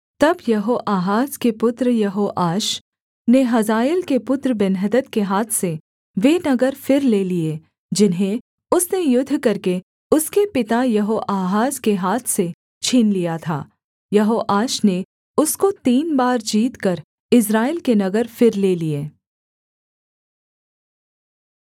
तब यहोआहाज के पुत्र यहोआश ने हजाएल के पुत्र बेन्हदद के हाथ से वे नगर फिर ले लिए जिन्हें उसने युद्ध करके उसके पिता यहोआहाज के हाथ से छीन लिया था यहोआश ने उसको तीन बार जीतकर इस्राएल के नगर फिर ले लिए